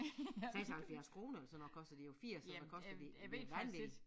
76 kroner eller sådan noget koster de jo 80 eller hvad koster de det vanvittigt